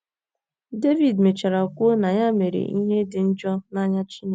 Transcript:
Devid mechara kwuo na ya mere ‘ ihe dị njọ n’anya Chineke. ’